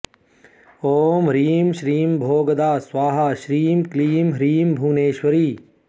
ॐ ह्रीं श्रीं भोगदा स्वाहा श्रीं क्लीं ह्रीं भुवनेश्वरी